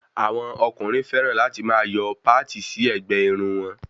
Àwọn ọkùnrin fẹràn láti máa yọ páti sí ẹ̀gbẹ́ Irun wọn